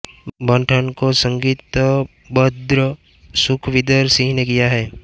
बन ठन को संगीतबद्ध सुखविंदर सिंह ने किया है